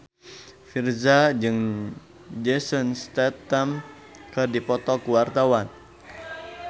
Virzha jeung Jason Statham keur dipoto ku wartawan